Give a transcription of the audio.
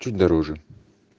чуть дороже